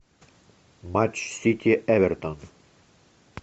матч сити эвертон